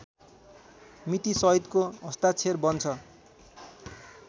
मितिसहितको हस्ताक्षर बन्छ